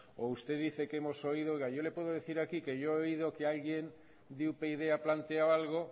o usted dice que hemos oído oiga yo le puedo decir aquí que yo he oído que alguien de upyd ha planteado algo